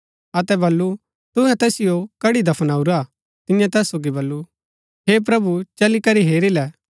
अतै बल्लू तुहै तैसिओ कड्ड़ी दफनाऊरा तियें तैस सोगी बल्लू हे प्रभु चली करी हेरी ले